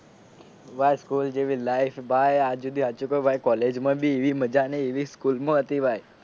ભાઈ સ્કૂલ જેવી life ભાઈ આજ સુધી સાચું કાવ ભાઈ કોલેજ માં બી એવી મજા નહીં એવી સ્કૂલમાં હતી ભાઈ